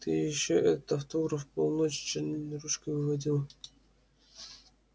ты ещё этот автограф полночи чернильной ручкой выводил